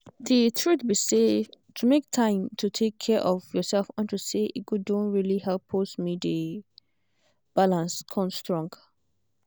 the truth be say to make time to take care of yourself unto say e good don really help pause me dey balance con strong